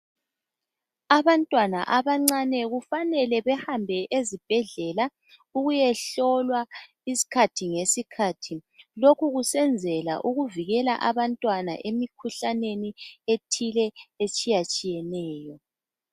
Abantwana abancane kufanele behambe ezibhedlela ukuyehlolwa isikhathi ngesikhathi. Lokhu kusenzela ukuvikela abantwana emikhuhlaneni ethile etshiyatshiyeneyo.